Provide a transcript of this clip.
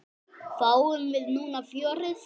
Fáum við núna fjörið?